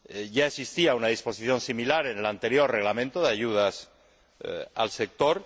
Ya existía una disposición similar en el anterior Reglamento de ayudas al sector.